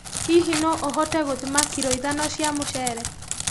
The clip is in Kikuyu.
Hihi noũhote gũthima kiro ithano cia mũcere?